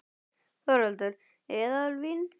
Þórhildur: Eðalvín?